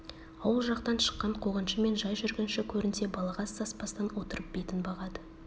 ауыл жақтан шыққан қуғыншы мен жай жүргінші көрінсе балағаз саспастан отырып бетін бағады